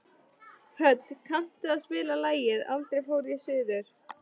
Hödd, kanntu að spila lagið „Aldrei fór ég suður“?